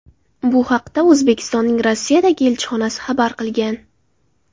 Bu haqda O‘zbekistonning Rossiyadagi elchixonasi xabar qilgan .